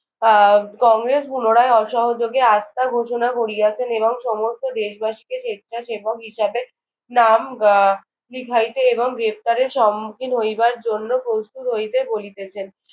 আহ কংগ্রেস পুনরায় অসহযোগে আস্থা ঘোষণা করিয়াছেন এবং সমস্ত দেশবাসীকে স্বেচ্ছাসেবক হিসেবে নাম আহ লিখাইতে এবং গ্রেফতারের সম্মুখীন হইবার জন্য প্রস্তত হইতে বলিতেছেন।